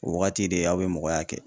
O wagati de aw be mɔgɔya kɛ.